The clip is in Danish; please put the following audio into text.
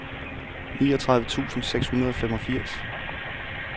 niogtredive tusind seks hundrede og femogfirs